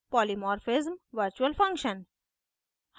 polymorphism virtual function